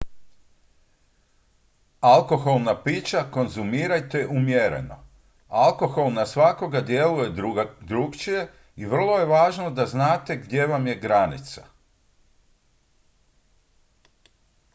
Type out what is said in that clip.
alkoholna pića konzumirajte umjereno alkohol na svakoga djeluje drukčije i vrlo je važno da znate gdje vam je granica